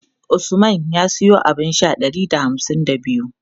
Usman ya siyo abun sha ɗari da hamsin da biyu.